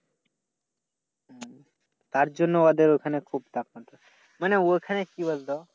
তার জন্য ওদের ওখানে খুব তাপমাত্রা। মানে ওখানে কি বলতো?